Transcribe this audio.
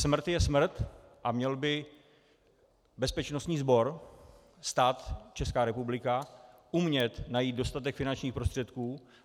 Smrt je smrt a měl by bezpečnostní sbor, stát, Česká republika, umět najít dostatek finančních prostředků.